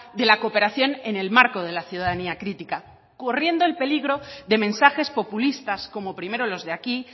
de la cooperación en el marco de la ciudadanía crítica corriendo el peligro de mensajes populistas como primero los de aquí